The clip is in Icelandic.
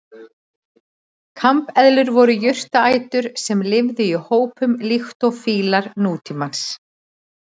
Kambeðlur voru jurtaætur sem lifðu í hópum líkt og fílar nútímans.